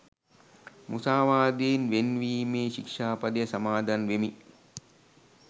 මුසාවාදයෙන් වෙන්වීමේ ශික්‍ෂා පදය සමාදන් වෙමි